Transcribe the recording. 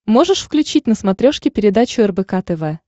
можешь включить на смотрешке передачу рбк тв